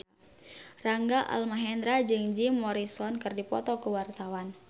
Rangga Almahendra jeung Jim Morrison keur dipoto ku wartawan